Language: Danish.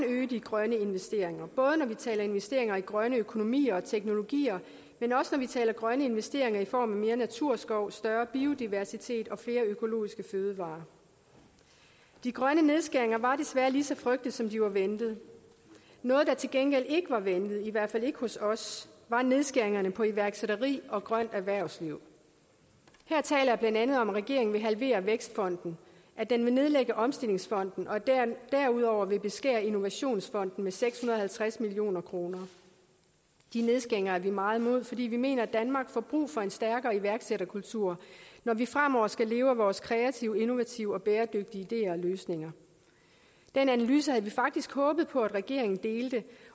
øge de grønne investeringer både når vi taler investeringer i grønne økonomier og teknologier men også når vi taler grønne investeringer i form af mere naturskov større biodiversitet og flere økologiske fødevarer de grønne nedskæringer var desværre lige så frygtet som de var ventet noget der til gengæld ikke var ventet i hvert fald ikke hos os var nedskæringerne på iværksætteri og grønt erhvervsliv her taler jeg blandt andet om at regeringen vil halvere vækstfonden at den vil nedlægge omstillingsfonden og derudover vil beskære innovationsfonden med seks hundrede og halvtreds million kroner de nedskæringer er vi meget imod fordi vi mener at danmark får brug for en stærkere iværksætterkultur når vi fremover skal leve af vores kreative innovative og bæredygtige ideer og løsninger den analyse havde vi faktisk håbet på at regeringen delte